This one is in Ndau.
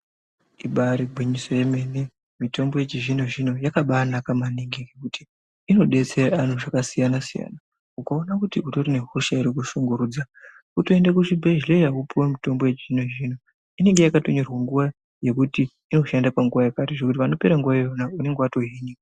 Ibari gwinyiso yomene mitombo yechizvino zvino yakabanaka maningi ngekuti inodetsera antu zvakasiyana siyana ukaona kuti utore nehosha iri kukushungurudza wotoende kuchibhedhlera wotopuwe mitombo yechizvino zvino inenge yakatonyorwe nguwa yekuti inoshande panguwa yakati zvekuti panopera nguwa iyona unenge watohinika.